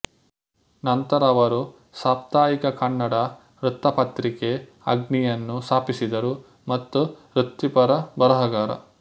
ನಂತರ ಅವರು ಸಾಪ್ತಾಹಿಕ ಕನ್ನಡ ವೃತ್ತಪತ್ರಿಕೆ ಅಗ್ನಿ ಯನ್ನು ಸ್ಥಾಪಿಸಿದರು ಮತ್ತು ವೃತ್ತಿಪರ ಬರಹಗಾರ